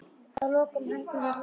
Að lokum hætti hún að hlæja.